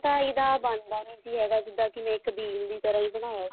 ਇਹਦਾ ਬਣਦਾ ਨੀ ਸੀ ਹੈਗਾ ਜਿੱਦਾਂ ਮੈਂ ਇੱਕ ਬਿਲ ਦੀ ਤਰ੍ਹਾ ਹੀ ਬਣਾਇਆ ਸੀ